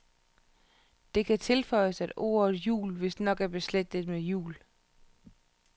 Det kan tilføjes, at ordet jul vistnok er beslægtet med hjul.